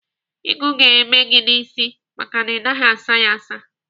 Ịgụ ga-eme gị n'isi maka na ị naghị asa ya asa.